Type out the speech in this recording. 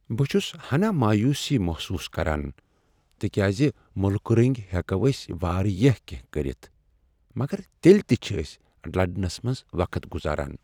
بہٕ چھس ہناہ مایوسی محسوس کران تکیازِ مُلکہٕ رٕنگۍ ہیکو أسۍ واریاہ کینٛہہ کرتھ مگر تیلہ تِہ چھ أسۍ لڑنس منٛز وقت گزاران۔